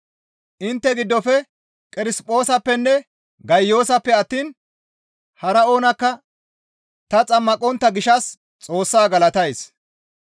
Intte giddofe Qerisphoosappenne Gayiyoosappe attiin hara oonakka ta xammaqontta gishshas Xoossaa galatays.